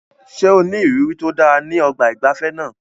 Ṣé o ní ìrírí tó dára ní ọgbà ìgbafẹ́ náà?